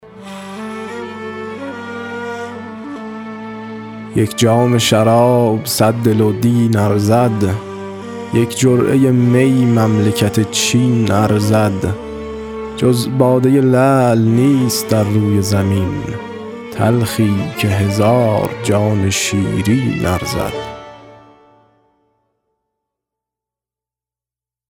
یک جام شراب صد دل و دین ارزد یک جرعه می مملکت چین ارزد جز باده لعل نیست در روی زمین تلخی که هزار جان شیرین ارزد